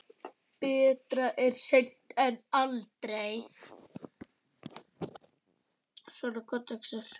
Betra er seint en aldrei!